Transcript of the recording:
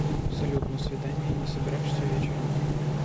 салют на свидание не собираешься вечером